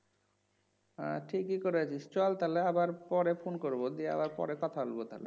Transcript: হ্যাঁ ঠিকই করেছিস চল তাহলে আবার পরে ফোন করবো দিয়ে আবার পরে কথা হইব তাহলে